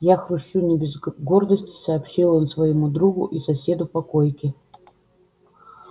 я хрущу не без гордости сообщил он своему другу и соседу по койке